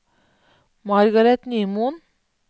Margaret Nymoen